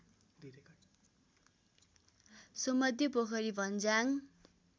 सोमध्ये Pokhari भञ्याङ